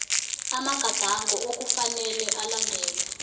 amagadango okufanele alandelwe